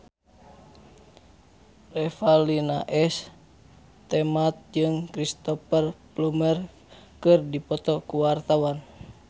Revalina S. Temat jeung Cristhoper Plumer keur dipoto ku wartawan